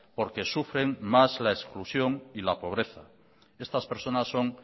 porque sufren más la exclusión y la pobreza estas personas son